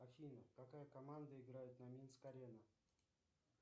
афина какая команда играет на минск арена